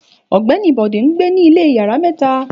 Ògbéni Bode ńgbé ní ilé yàrá méta